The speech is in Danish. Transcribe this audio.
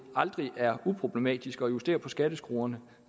aldrig er uproblematisk at justere på skatteskruerne